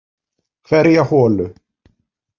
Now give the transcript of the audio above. Hverja holu.